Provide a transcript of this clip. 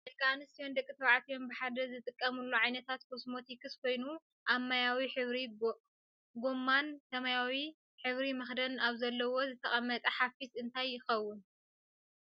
ደቂ ኣንስትዮን ደቂ ተባዕትዮን ብሓደ ዝጥቀምሉ ዓይነት ኮስሞቶክስ ኮይኑ ኣብ ማያዊ ሕብሪ ጎማን ሰማያዊ ሕበር መክደን ኣብ ዘለዎ ዝተቀመጠ ሓፊስ እንታይ ይከውን?